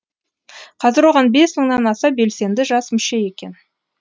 қазір оған бес мыңнан аса белсенді жас мүше екен